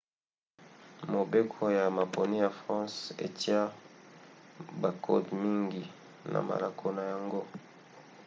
mobeko ya maponi ya france etia bakode mingi na malako na yango